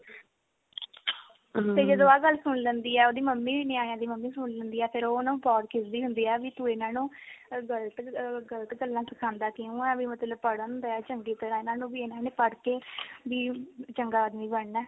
ਤੇ ਜਦੋਂ ਆ ਗੱਲ ਸੁਣ ਲੈਂਦੀ ਆ ਉਹਦੀ ਮੰਮੀ ਨਿਆਣੇਆਂ ਦੀ ਮੰਮੀ ਸੁਣ ਲੈਂਦੀ ਆ ਫਿਰ ਉਹ ਉਹਨੂੰ ਬਹੁਤ ਖਿਜਦੀ ਹੁੰਦੀ ਆ ਵੀ ਤੂੰ ਇਹਨਾ ਨੂੰ ਗਲਤ ਗਲਤ ਗੱਲਾਂ ਸਿਖਾਂਦਾ ਕਿਉਂ ਆਂ ਵੀ ਮਤਲਬ ਪੜ੍ਹਨ ਦੇ ਚੰਗੀ ਤਰ੍ਹਾਂ ਇਹਨਾ ਨੂੰ ਵੀ ਇਹਨਾ ਨੇ ਵੀ ਪੜ੍ਹਕੇ ਵੀ ਚੰਗਾ ਆਦਮੀ ਬਣਨਾ